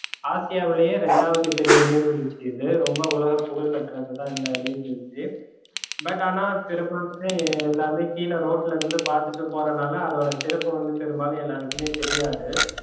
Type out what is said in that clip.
ஆசியாவிலேயே ரெண்டாவது பெரிய நீர்வீழ்ச்சி இது ரொம்ப உலக புகழ்பெற்றதுதா இந்த நீர்வீழ்ச்சி but ஆனா பெரும்பாலுமே எல்லாமே கீழ ரோட்டுல இருந்து பாத்துட்டு போரனால அதோட சிறப்பு வந்து பெரும்பாலும் எல்லாருக்குமே தெரியாது